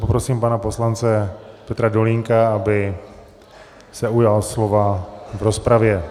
Poprosím pana poslance Petra Dolínka, aby se ujal slova v rozpravě.